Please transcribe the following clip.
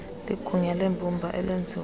ligunya lembumba elenziwe